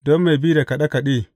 Don mai bi da kaɗe kaɗe.